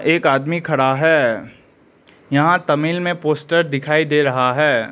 एक आदमी खड़ा है यहां तमिल में पोस्टर दिखाई दे रहा है।